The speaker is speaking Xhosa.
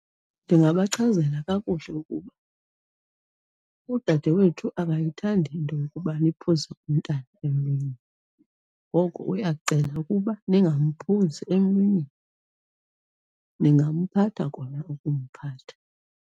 Ndingabachazela kakuhle ukuba, udadewethu akayithandi into yokuba niphuze umntana emlonyeni. Ngoko uyacela ukuba ningamphuzi emlonyeni. Ningamphatha kona ukumphatha.